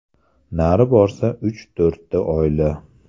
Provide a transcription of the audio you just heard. Nari borsa uch-to‘rtta oila.